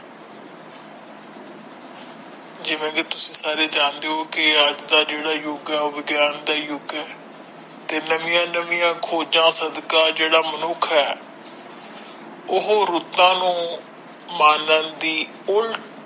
ਜਿਵੇ ਕਿ ਤੁਸੀ ਸਾਰੇ ਜਾਣਦੇ ਹੋ ਕੀ ਅੱਜ ਦਾ ਜਿਹੜਾ ਯੁੱਗ ਹੈ ਉਹ ਵਿਗਿਆਨ ਦਾ ਯੁੱਗ ਹੈ ਤੇ ਨਵੀਆਂ ਨਵੀਆਂ ਖੋਜਾਂ ਸਦਕਾ ਜਿਹੜਾ ਮਨੁੱਖ ਹੈ ਉਹ ਰੁੱਤਾਂ ਨੂੰ ਮਾਲਣ ਦੀ ਉੱਲਟ।